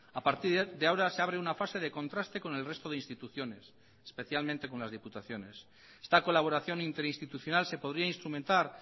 a partir de ahora se abre una fase de contraste con el resto de instituciones especialmente con las diputaciones esta colaboración interinstitucional se podría instrumentar